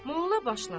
Molla başladı.